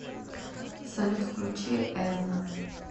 салют включи эрнон